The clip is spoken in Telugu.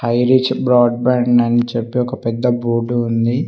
హై రీచ్ బ్రాడ్ బ్యాండ్ అని చెప్పి ఒక పెద్ద బోర్డు ఉంది.